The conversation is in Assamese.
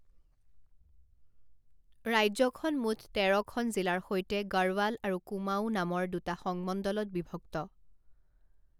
ৰাজ্যখন মুঠ তেৰ খন জিলাৰ সৈতে গড়ৱাল আৰু কুমাঊঁ নামৰ দুটা সংমণ্ডলত বিভক্ত।